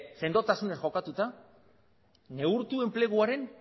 sendotasunez jokatuta neurtu enpleguaren